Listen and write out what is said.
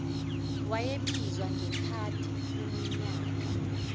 owayebizwa ngekhaladi kuminyaka